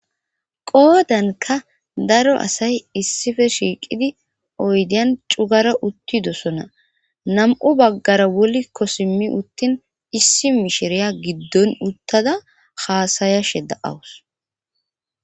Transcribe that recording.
qoodanka daro asay issife shiiqidi oydiyan cugara uttidosona nam7u baggara wolikko simi uttin issi mishiriya giddon uttada haasayashe da7awus